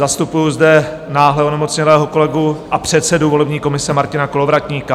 Zastupuji zde náhle onemocnělého kolegu a předsedu volební komise Martina Kolovratníka.